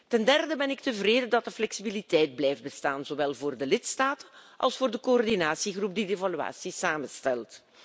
Ten derde ben ik tevreden dat de flexibiliteit blijft bestaan, zowel voor de lidstaat als voor de coördinatiegroep die de evaluatie samenstelt.